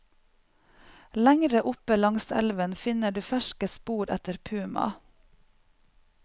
Lengre oppe langs elven finner du ferske spor etter puma.